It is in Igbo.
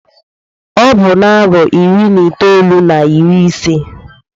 Ọ bụ na-arọ iri na itolu na iri isee.